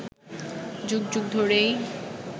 যুগ যুগ ধরেই